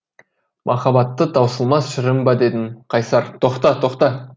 махаббатты таусылмас шырын ба дедім қайсар тоқта тоқта